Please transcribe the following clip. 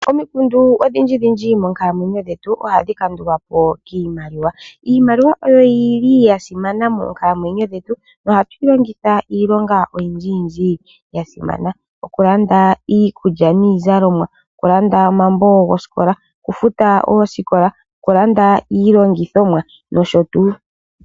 Omikundu odhindji moonkalamwenyo dhetu ohadhi kandulwapo kiimaliwa. Iimaliwa oyili yasimana moonkalamwenyo dhetu nohatuyi longitha iilonga oyindji ya simana, okulanda iikulya niizalomwa, okulanda omambo gosikola, okufuta oosikola ,okulanda iilongithomwa nosho tuu.